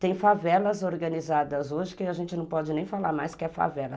Tem favelas organizadas hoje que a gente não pode nem falar mais que é favela.